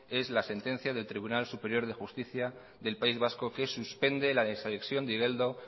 es la sentencia del tribunal superior de justicia del país vasco que suspende la desanexión de igeldo